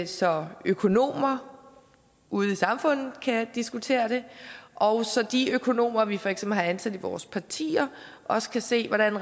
så økonomer ude i samfundet kan diskutere dem og så de økonomer vi for eksempel har ansat i vores partier også kan se hvordan